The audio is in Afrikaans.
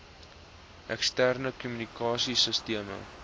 eksterne kommunikasie sisteme